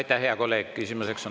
Aitäh, hea kolleeg!